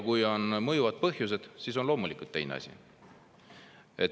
Kui on mõjuvad põhjused, siis on loomulikult teine asi.